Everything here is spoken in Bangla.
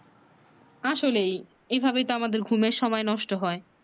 আসলেই এভাবে তো আমাদের ঘুমের সময় নষ্ট হয়